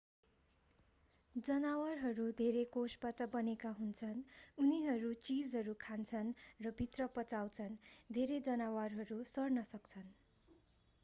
जनावरहरू धेरै कोषबाट बनेका हुन्छन् उनीहरू चीजहरू खान्छन् रभित्र पचाउँछन् धेरै जनावरहरू सर्न सक्छन्